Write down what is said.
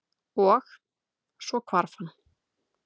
Og- svo hvarf hann.